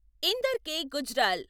Inder K. Gujral